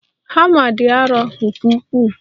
Hama dị arọ nke ukwuu.